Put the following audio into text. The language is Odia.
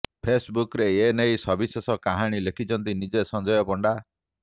ଫେସବୁକରେ ଏ ନେଇ ସବିଶେଷ କାହାଣୀ ଲେଖିଛନ୍ତି ନିଜେ ସଂଜୟ ପଣ୍ଡା